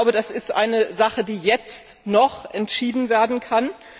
Das ist eine Sache, die jetzt noch entschieden werden kann.